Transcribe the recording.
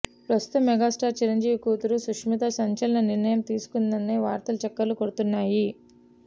ప్రస్తుత మెగాస్టార్ చిరంజీవి కూతురు సుస్మిత సంచలన నిర్ణయం తీసుకుందనే వార్తలు చక్కర్లు కొడుతున్నాయి